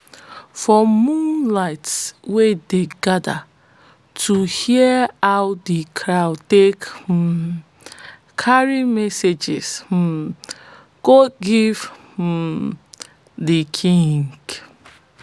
for moonlight we dey gather to hear how de crow take um carry messages um go give um de king